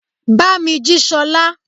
Bámí jí Sola!